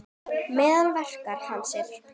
Meðal verka hans eru